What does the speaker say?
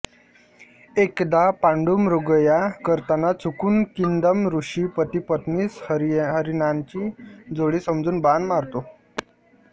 एकदा पांडू मृगया करताना चुकून किंदम ऋषी पतिपत्नीस हरीणांची जोडी समजून बाण मारतो